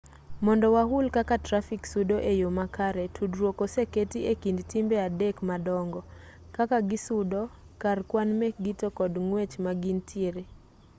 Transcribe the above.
mondo wahul kaka trafik sudo e yo makare tudruok oseketi e kind timbe adek madongo 1 kaka gisudo 2 kar kwan mekgi to kod 3 ng'wech ma gintiere